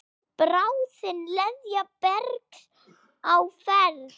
Bráðin leðja bergs á ferð.